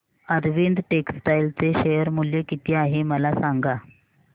Arvind textile चे share मूल्य किती आहे मला सांगा